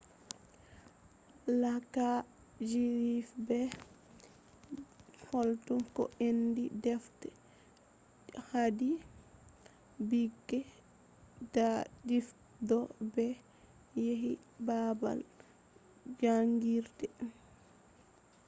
kala fijirde pat hokkan ko inde defte je haadi ɓikkoi ɗabbita to ɓe yehi babal jangirde